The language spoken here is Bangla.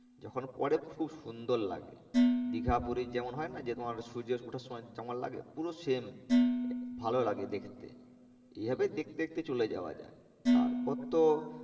যখন পরে খুব সুন্দর লাগে। দীঘা পুরী যেমন হয় না যে তোমার সূর্য ওঠার সময় যেমন লাগে পুরো same ভালো লাগে দেখতে এই ভাবে দেখতে দেখতে চলে যাওয়া যায়। তার পর তো